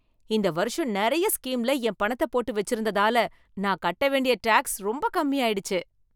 இந்த வருஷம் நிறைய ஸ்கீம்ல என் பணத்தை போட்டு வச்சிருந்ததால, நான் கட்ட வேண்டிய டாக்ஸ் ரொம்ப கம்மியாயிடுச்சு.